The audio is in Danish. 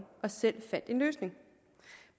og selv fandt en løsning